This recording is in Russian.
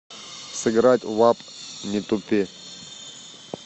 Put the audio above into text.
сыграть в апп не тупи